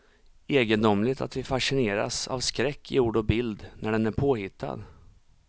Egendomligt att vi fascineras av skräck i ord och bild, när den är påhittad.